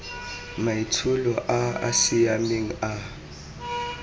maitsholo a a siameng a